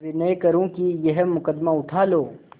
विनय करुँ कि यह मुकदमा उठा लो